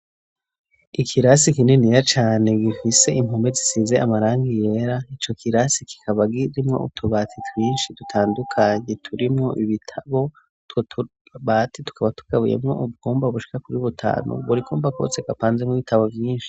Ikirasi kininiya cane, gifise impome zisize amarangi yera, ico kirasi kikaba irimwo utubati twinshi tutandukanye, turimwo ibitabo, utwotubati tukaba tugabuyemo ubwumba bushika kuri butanu, buri kumba kose kapanze mwo ibitabo vyinshi.